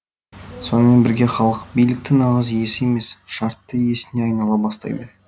сонымен бірге халық биліктің нағыз иесі емес шартты иесіне айнала бастайды